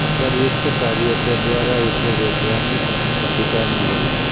उपर्युक्त कार्यों के द्वारा उसे वैधानिक अधिकार मिले